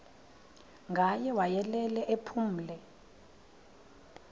ngaye wayelele ephumle